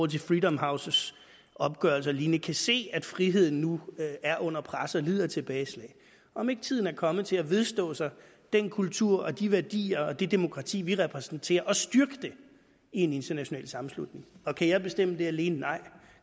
til freedom houses opgørelse og lignende kan se at friheden nu er under pres og lider tilbageslag om ikke tiden er kommet til at vedstå sig den kultur og de værdier og det demokrati vi repræsenterer og styrke det i en international sammenslutning kan jeg bestemme det alene nej